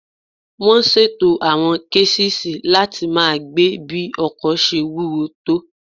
Wọ́n ṣètò àwọn késìsì láti máa gbé bí ọkọ̀ ṣe wúwo tó